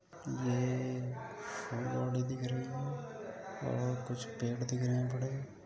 ये दिख रहे हैं और कुछ पेड़ दिख रहे हैं। बड़े